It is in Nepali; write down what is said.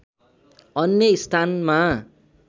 अन्य स्थानमा